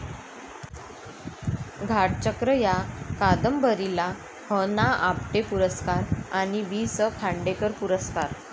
घाटचक्र या कादंबरीला ह.ना.आपटे पुरस्कार आणि वी.स.खांडेकर पुरस्कार